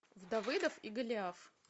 давыдов и голиаф